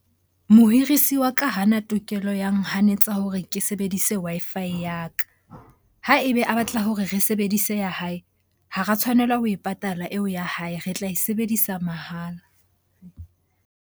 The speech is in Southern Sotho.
Mohirisi wa ka ha ana tokelo ya nehonors tsa hore ke sebedise Wi-Fi ya ka. Ha ebe a batla hore re sebedise ya hae, ha ra tshwanela ho e patala eo ya hae. Re tla e sebedisa mahala.